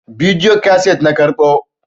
bidiyo kaset na karɓo